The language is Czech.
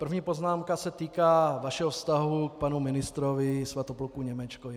První poznámka se týká vašeho vztahu k panu ministrovi Svatopluku Němečkovi.